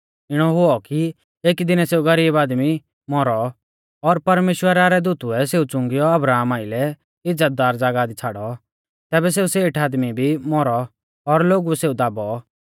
इणौ हुऔ कि एकी दीनै सेऊ गरीब आदमी मौरौ और परमेश्‍वरा रै दूतुऐ सेऊ च़ुंगीयौ अब्राहमा आइलै इज़्ज़तदार ज़ागाह छ़ाड़ौ तैबै सेऊ सेठ आदमी भी मौरौ और लोगुऐ सेऊ दाबौ